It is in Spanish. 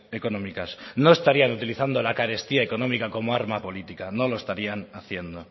económicas no estarían utilizando la carestía económica como arma política no lo estarían haciendo